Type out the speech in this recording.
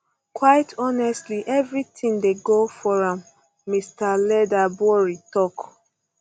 quite honestly everything dey go for am mr leatherbury tok